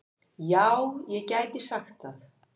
Já, ég gæti sagt það.